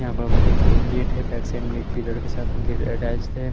यहाँ पर उम एक गेट हैं पग्स हम एक पीरियड के साथ अटैच्ड थे।